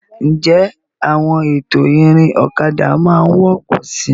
Ǹjẹ́ àwọn ètò ìrìn ọ̀kadà máa wọ́pọ̀ síi?